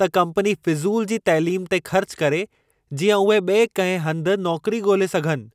त कम्पनी फ़ुज़ूल जी तइलीमु ते ख़र्च करे, जींअं उहे ॿिए कंहिं हंधु नौकरी ॻोल्हे सघनि।